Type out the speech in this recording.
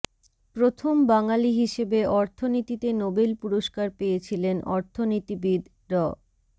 প্রথম বাঙালি হিসেবে অর্থনীতিতে নোবেল পুরস্কার পেয়েছিলেন অর্থনীতিবিদ ড